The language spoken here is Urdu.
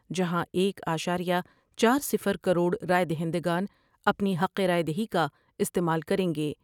جہاں ایک اعشارہ چارصفر کروڑ رائے دہندگان اپنی حق رائے دیہی کا استعمال کر یں گے ۔